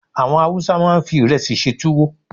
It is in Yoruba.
Àwọn Hausa máa ń fi ìrẹsì ṣe túwó